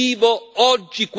Non siamo ingenui.